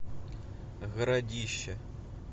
городище